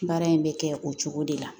Baara in bɛ kɛ o cogo de la